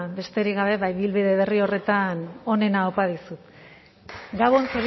besterik gabe ba ibilbide berri horretan onena opa dizut